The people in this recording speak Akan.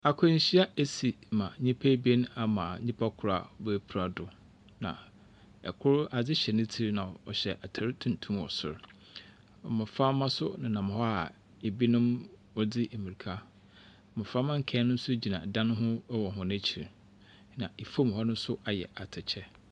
Akwanhyia esi ma nnipa ebien ama nipa kor a bepra do, na kor adze hyɛ ne tsir mu, na ɔhyɛ atar tuntum wɔ sor. Mmɔframma nso nenam hɔ a ebinom wɔdze mmirika. Mmɔframma nkae no nso gyina dan no ho wɔ hɔn ekyir, na fam hɔ no nso ayɛ atɛkyɛ.